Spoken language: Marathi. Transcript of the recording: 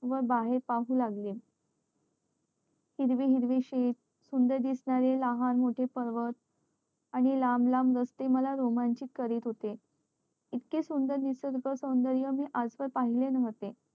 व बाहेर पाहू लागली हिरवे हिरवे शेत सुंदर दिसणारे लहान मोठे पर्वत आणि लांब लांब मस्त मला रोमांचिक करीत होते इतके सुंदर निर्सग सोंदर्य मी आज वर पाहिले नव्हते